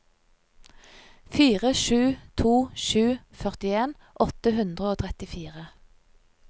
fire sju to sju førtien åtte hundre og trettifire